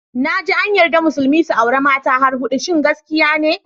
Naji an yarda musulmi su auri mata har hudu, shin gaskiya ne?